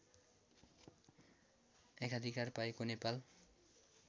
एकाधिकार पाएको नेपाल